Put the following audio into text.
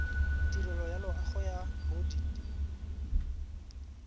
tirelo ya loago ya bodit